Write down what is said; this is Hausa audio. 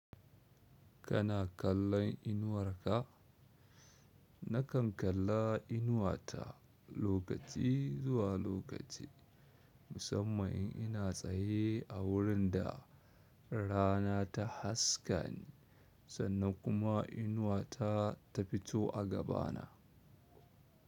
Kana kallon inuwarka? Nakan kalla inuwata lokaci zuwa lokaci, musamman in ina tsaye a wurin da rana ta haskani sannan kuma inuwata ta fito a gabana.